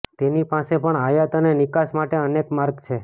તેની પાસે પણ આયાત અને નિકાસ માટે અનેક માર્ગ છે